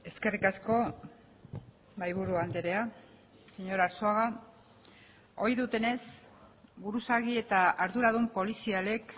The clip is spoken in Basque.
eskerrik asko mahai buru andrea señor arzuaga ohi dutenez buruzagi eta arduradun polizialek